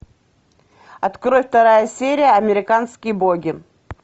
открой вторая серия американские боги